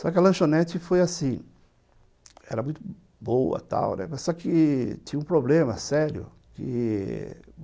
Só que a lanchonete foi assim, era muito boa tal, mas só que tinha um problema sério que...